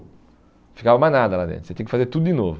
ficava mais nada lá dentro, você tinha que fazer tudo de novo.